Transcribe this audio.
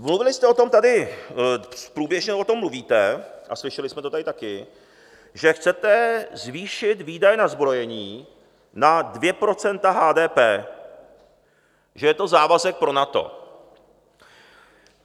Mluvili jste o tom tady, průběžně o tom mluvíte a slyšeli jsme to tady taky, že chcete zvýšit výdaje na zbrojení na 2 % HDP, že je to závazek pro NATO.